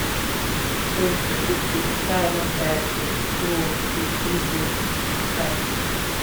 to de feel pretty after i don tire to do work be easy sigh.